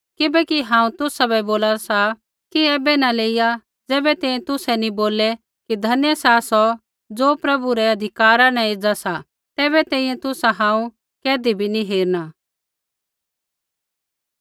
किबैकि हांऊँ तुसाबै बोला सा कि ऐबै न लेइया ज़ैबै तैंईंयैं तुसै नी बोललै कि धन्य सा सौ ज़ो प्रभु रै अधिकारा न एज़ा सा तैबै तैंईंयैं तुसा हांऊँ कैधी भी नी हेरना